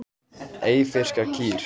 Eyfirskar kýr.